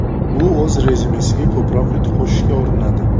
U o‘z rezyumesiga ko‘proq yutuq qo‘shishga urinadi.